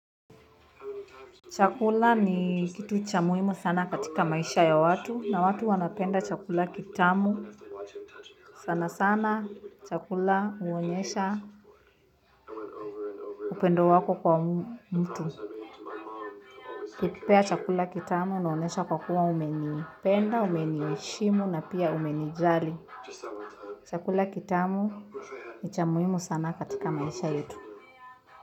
Chakula ni kitu cha muhimu sana katika maisha ya watu na watu wanapenda chakula kitamu. Sana sana chakula huonyesha upendo wako kwa mtu. Ukinipea chakula kitamu inaonyesha kwa kuwa umenipenda, umeniheshimu na pia umenijali. Chakula kitamu ni cha muhimu sana katika maisha yetu.